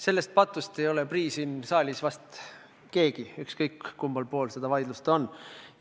Sellest patust ei ole siin saalis prii vist keegi, ükskõik kummal pool vaidlust ollakse.